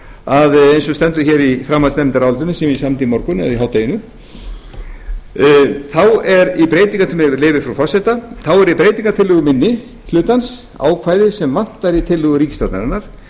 að eins og stendur í framhaldsnefndarálitinu sem ég samdi í morgun eða í hádeginu með leyfi frú forseta þá er í breytingartillögu minni hlutans ákvæði sem vantaði í tillögu ríkisstjórnarinnar